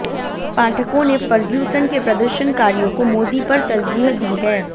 पाठकों ने फर्ग्यूस्न के प्रदर्शनकारियों को मोदी पर तरजीह दी है